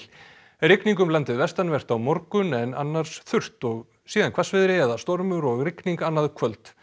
rigning um landið vestanvert á morgun en annars þurrt og síðan hvassviðri eða stormur og rigning annaðkvöld